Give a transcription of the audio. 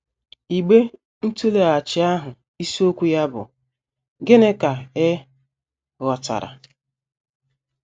Igbe ntụleghachi ahụ isiokwu ya bụ́ “ Gịnị Ka Ị Ghọtara? ”